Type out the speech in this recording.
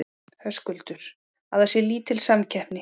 Höskuldur: Að það sé lítil samkeppni?